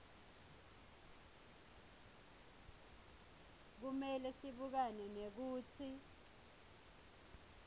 kumele sibukane nekutsi